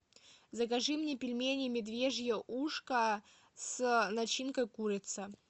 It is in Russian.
закажи мне пельмени медвежье ушко с начинкой курица